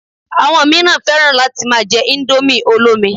Àwọn míràn fẹ́ràn láti ma jẹ indomie olómi